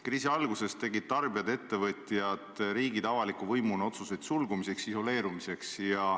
Kriisi alguses tegid tarbijad, ettevõtjad, avaliku võimuna riigid otsuseid sulgumiseks, isoleerumiseks.